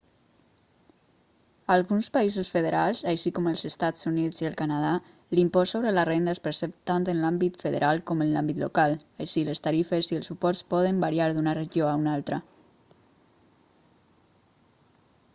a alguns països federals així com als estats units i el canadà l'impost sobre la renda es percep tant en l'àmbit federal com en l'àmbit local així les tarifes i els suports poden variar d'una regió a una altra